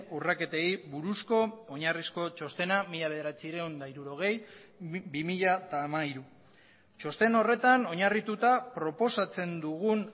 urraketei buruzko oinarrizko txostena mila bederatziehun eta hirurogei bi mila hamairu txosten horretan oinarrituta proposatzen dugun